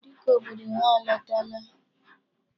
Dike obodo ha alọtala.